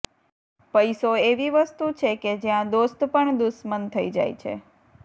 પૈસો એવી વસ્તુ છે કે જ્યાં દોસ્ત પણ દુશ્મન થઈ જાય છે